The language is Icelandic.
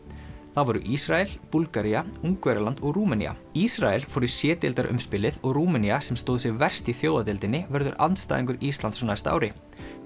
það voru Ísrael Búlgaría Ungverjaland og Rúmenía Ísrael fór í c og Rúmenía sem stóð sig verst í verður andstæðingur Íslands á næsta ári